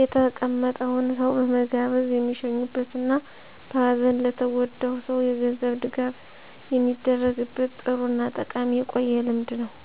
የተቀመጠውን ሰው በመጋበዝ የሚሸኙበት እና በሀዘን ለተጎዳው ሰው የገንዘብ ድጋፍ የሚደረግበት ጥሩ እና ጠቃሚ የቆየ ልምድ ነው።